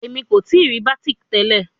Emi ko tii ri batik tẹlẹ